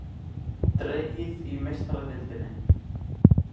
Dregið í Meistaradeildinni